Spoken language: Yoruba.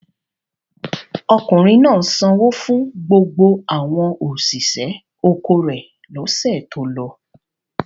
Ọkùnrin náà sanwó fún gbogbo àwọn òṣìṣẹ́ oko rẹ̀ lọ́sẹ̀ tó lọ?